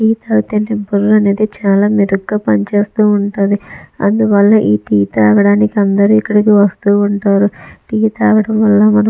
tea తాగితే బుర్ర అనేది చాలా మెరుగ్గా పనిచేస్తూ ఉంటది అందువల్ల ఈ టీ తాగడానికి అందరూ ఇక్కడికి వస్తూవుంటారు టీ తాగడం వల్ల మన --